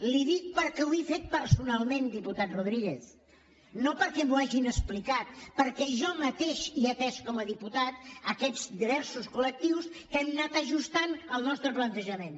li ho dic perquè ho he fet personalment diputat rodríguez no perquè m’ho hagin explicat perquè jo mateix he atès com a diputat aquests diversos col·lectius amb qui hem anat ajustant el nostre plantejament